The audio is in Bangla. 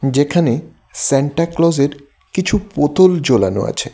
যেখানে সান্টা ক্লজের কিছু পুতুল ঝোলানো আছে।